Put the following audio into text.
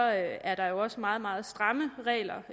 er der også meget meget stramme regler